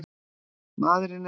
Maðurinn neitar sök.